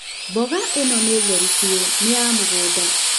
Mboga ĩno nĩ theru biũ. Nĩ ya mũgũnda.